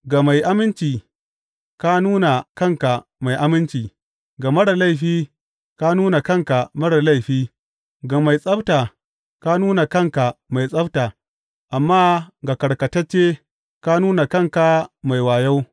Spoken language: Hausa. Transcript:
Ga mai aminci ka nuna kanka mai aminci, ga marar laifi ka nuna kanka marar laifi, ga mai tsabta ka nuna kanka mai tsabta, amma ga karkatacce, ka nuna kanka mai wayo.